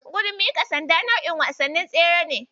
Gudun miƙa sanda nau'in wasannin tsere ne.